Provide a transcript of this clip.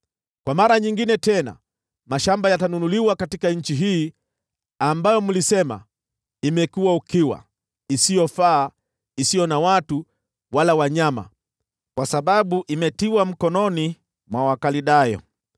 Kwa mara nyingine tena mashamba yatanunuliwa katika nchi hii ambayo mlisema, ‘Imekuwa ukiwa, isiyofaa, isiyo na watu wala wanyama, kwa sababu imetiwa mikononi mwa Wakaldayo.’